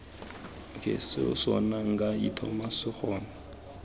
seo sona nka itoma sekgono